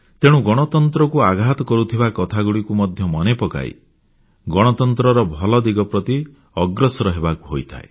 ତେଣୁ ଗଣତନ୍ତ୍ରକୁ ଆଘାତ କରୁଥିବା କଥାଗୁଡ଼ିକୁ ମଧ୍ୟ ମନେ ପକାଇ ଗଣତନ୍ତ୍ରର ଭଲ ଦିଗ ପ୍ରତି ଅଗ୍ରସର ହେବାକୁ ହୋଇଥାଏ